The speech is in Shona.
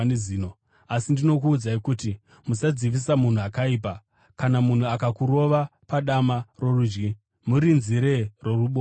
Asi ndinokuudzai kuti, Musadzivisa munhu akaipa. Kana munhu akakurova padama rorudyi, murinzire roruboshwewo.